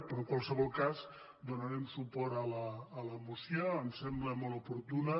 però en qualsevol cas donarem suport a la moció ens sembla molt oportuna